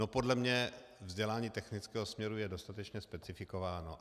No, podle mě vzdělání technického směru je dostatečně specifikováno.